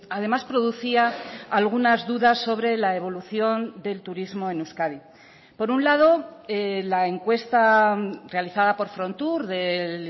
además producía algunas dudas sobre la evolución del turismo en euskadi por un lado la encuesta realizada por frontur del